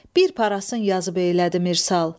Bir parasın yazıb eylədi Mirsal.